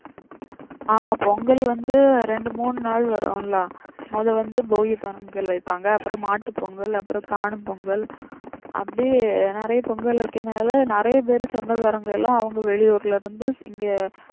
ஆமா பொங்கல் வந்து ரெண்டு மூனு நாள் வரும்ல மொத வந்து போகி பொங்கல் வைப்பாங்க அப்புறம் மாட்டு பொங்கல் அப்புறம் காணும் பொங்கல் அப்படியே நிறைய பொங்கல் வைக்கனால நிறைய சொந்தக்காரங்க எல்லாம் அவங்க வெளியூர்ல இருந்து இங்கே